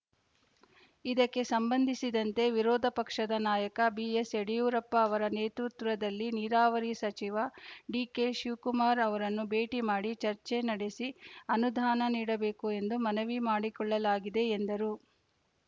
ಇದಕ್ಕೆ ಸಂಬಂಧಿಸಿದಂತೆ ವಿರೋಧ ಪಕ್ಷದ ನಾಯಕ ಬಿಎಸ್‌ಯಡಿಯೂರಪ್ಪ ಅವರ ನೇತೃತ್ವದಲ್ಲಿ ನೀರಾವರಿ ಸಚಿವ ಡಿಕೆಶಿವಕುಮಾರ್‌ ಅವರನ್ನು ಭೇಟಿ ಮಾಡಿ ಚರ್ಚೆ ನಡೆಸಿ ಅನುದಾನ ನೀಡಬೇಕು ಎಂದು ಮನವಿ ಮಾಡಿಕೊಳ್ಳಲಾಗಿದೆ ಎಂದರು